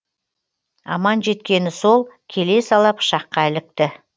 аман жеткені сол келе сала пышаққа ілікті